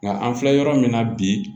Nka an filɛ yɔrɔ min na bi